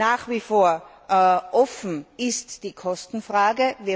Nach wie vor offen ist die Kostenfrage.